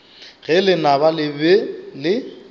ge lenaba le be le